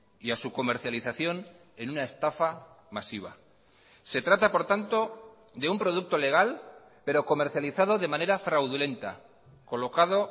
y a su comercialización en una estafa masiva se trata por tanto de un producto legal pero comercializado de manera fraudulenta colocado